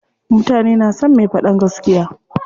Mutane na son me faɗan gaskiya.